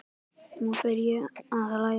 Nú fer ég að hlæja.